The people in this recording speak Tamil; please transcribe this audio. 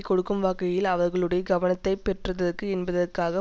கொடுக்கும் வகையில் அவர்களுடைய கவனத்தை பெற்றதற்கு என்பதற்காக